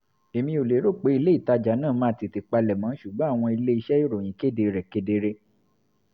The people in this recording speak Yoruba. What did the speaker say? èmi ò lérò pé ilé-ìtajà náà máa tètè palẹ̀mọ́ ṣùgbọ́n àwọn ilé-iṣẹ́ ìròyìn kéde rẹ̀ kedere